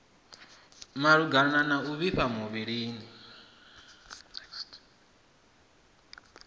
malugana na u vhifha muvhilini